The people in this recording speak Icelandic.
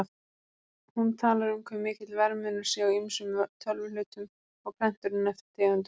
Hún talar um hve mikill verðmunur sé á ýmsum tölvuhlutum og prenturum eftir tegundum.